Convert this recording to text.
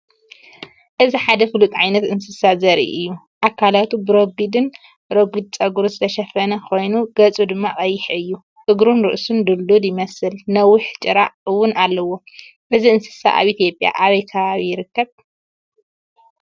እዚ ሓደ ፍሉጥ ዓይነት እንስሳ ዘርኢ እዩ። ኣካላቱ ብረጒድን ረጒድን ጸጉሪ ዝተሸፈነ ኮይኑ፡ ገጹ ድማ ቀይሕ እዩ። እግሩን ርእሱን ድልዱል ይመስል፣ ነዊሕ ጭራ እውን ኣለዎ። እዚ እንስሳ ኣብ ኢትዮጵያ ኣበይ ከባቢ ይርከብ?